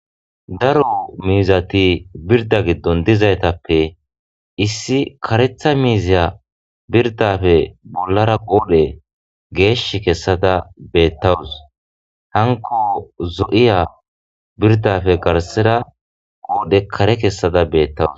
Darro mizati birida gidoni diza, he mizatape issi karetha miziya biridda gidooppe bollara qodhe geshi kessada betawusu hanko zo'iya biridappe garisara qodhe kare kessada betawusi